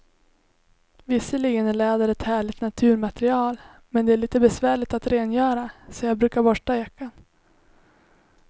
Visserligen är läder ett härligt naturmaterial, men det är lite besvärligt att rengöra, så jag brukar borsta jackan.